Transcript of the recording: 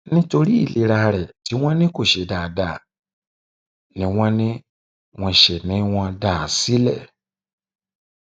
nítorí ìlera rẹ tí wọn ní kó ṣe dáadáa ni wọn ní wọn ṣe ni wọn dá a sílẹ